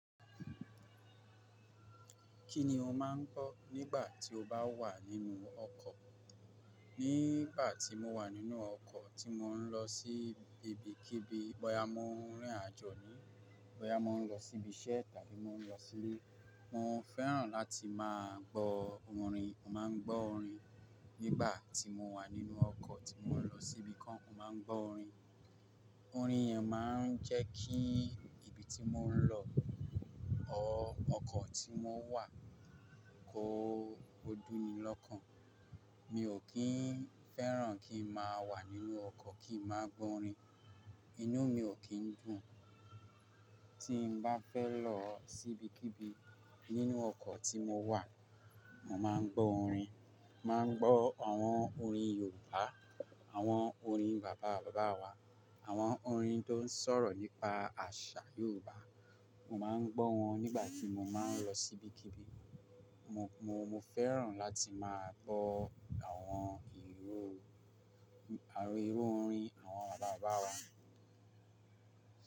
Kí ni o máa ń kọ́ nígbà tí o bá wà nínú ọkọ̀? Nígbà tí mo wà nínú ọkọ̀ tí mò ń lọ sí ibikíbi, bọ́ya mò ń rìn àjò ni, bọ́ya mò ń lọ síbi iṣẹ́ tàbí mò ń lọ sílé, mo fẹ́ràn láti máa gbọ́ orin. Mo máa ń gbọ́ orin nígbà tí mo wà nínú ọkọ̀ tí mò ń lọ síbi kan. Mo máa ń gbọ́ orin. Orin yẹn máa ń jẹ́ kí ibi tí mò ń lọ, or, ọkọ̀ tí mo n wà kó dúnní lọ́kàn. Mi ò kí ń fẹ́ràn kí n máa wà nínú ọkọ̀ kí n má gbọ́ orin. Inú mi ò kí ń dùn. Tí n bá fẹ́ lọ sí ibikíbi nínú ọkọ̀ tí mo wà, mo máa ń gbọ́ orin. Mo máa ń gbọ́ àwọn orin Yorùbá, àwọn orin bàbá bàbá wa, àwọn orin tó ń sọ̀rọ̀ nípa àṣà Yorùbá. Mo máa ń gbọ́ wọn nígbà tí mo máa ń lọ sí ibikíbi. Mo, mo, mo fẹ́ràn láti máa gbọ́ àwọn ìru, àwọn ìru orin àwọn bàbá bàbá wa.